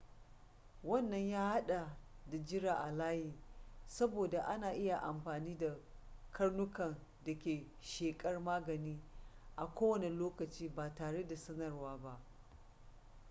wannan ya hada da jira a layi saboda ana iya amfani da karnukan da ke shakar magani a kowane lokaci ba tare da sanarwa ba